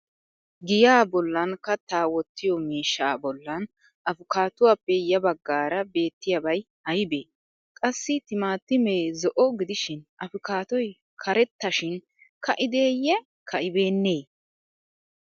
Giyaa bollan kattaa wottiyo miishshaa bollan afkaatuwaappe ya baggaara beettiyaabay aybee? Qassi timitamee zo'o gidishin afkaatoy karetta shin ka'ideeyye ka'ibeennee?